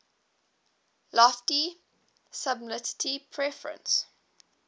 lofty sublimity preface